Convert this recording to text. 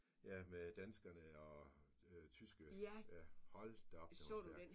Ja med danskerne og tyske ja hold da op den var stærk